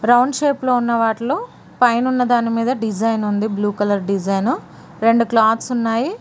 round shape లో ఉన్న వాటిలో పైనున్న దానిమీద డిజైన్ ఉంది బ్లూ కలర్ డిజైన్ రెండు క్లాత్స్ ఉన్నాయి